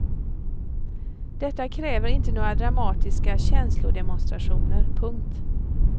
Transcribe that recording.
Detta kräver inte några dramatiska känslodemonstrationer. punkt